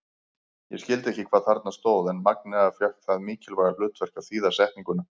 Ég skildi ekki hvað þarna stóð en Magnea fékk það mikilvæga hlutverk að þýða setninguna.